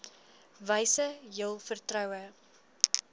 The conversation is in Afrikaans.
wyse jul vertroue